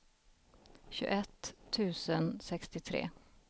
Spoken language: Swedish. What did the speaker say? tjugoett tusen sextiotre